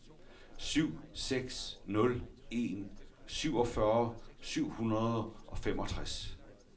syv seks nul en syvogfyrre syv hundrede og femogtres